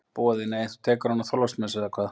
Boði: Nei, þú tekur hana á Þorláksmessu, eða hvað?